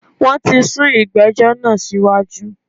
Wọn tí sún ìgbẹ́jọ́ náà síwájú